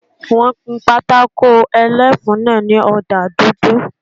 Wọ́n kun pátákó ẹlẹ́fun náà ní ọ̀dà dúdú